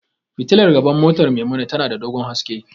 Fitilar gaban motar Maimuna tana da dogon haske.